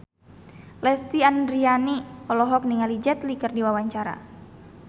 Lesti Andryani olohok ningali Jet Li keur diwawancara